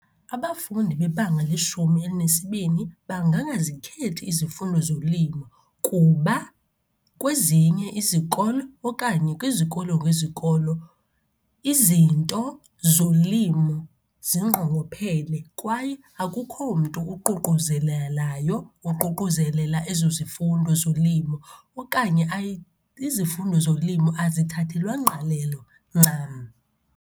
Abafundi bebanga leshumi elinesibini bangangazikhethi izifundo zolimo kuba kwezinye izikolo okanye kwizikolo ngezikolo izinto zolimo zingqongophele, kwaye akukho mntu uququzelelayo, uququzelela ezo zifundo zolimo okanye izifundo zolimo azithathelwa ngqalelo ncam.